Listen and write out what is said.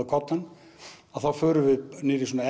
koddann þá förum við niður í svona